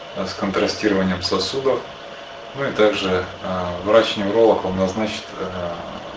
с контрастированием сосудов ну и также врач-невролог он назначит